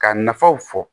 Ka nafaw fɔ